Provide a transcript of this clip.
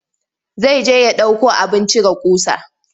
Zai je ya ɗauko abin cire ƙusa.